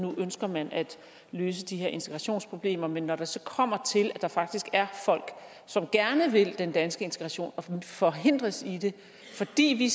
nu ønsker man at løse de her integrationsproblemer men ikke når det så kommer til at der faktisk er folk som gerne vil den danske integration og forhindres i det fordi vi